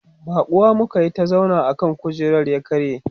baƙuwa muka Yi ta zauna akan kujerar ya karye